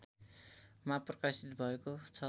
मा प्रकाशित भएको छ